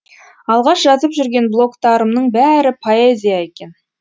алғаш жазып жүрген блогтарымның бәрі поэзия екен